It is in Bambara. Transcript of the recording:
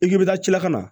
I k'i bɛ taa ci lakana